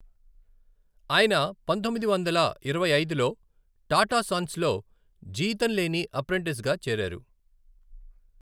ఆయన పంతొమ్మిది వందల ఇరవై ఐదులో టాటా సన్స్లో జీతం లేని అప్రెంటిస్గా చేరారు.